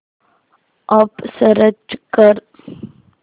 app search कर